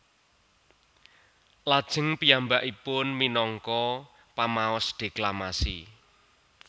Lajeng piyambakipun minangka pamaos deklamasi